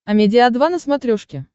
амедиа два на смотрешке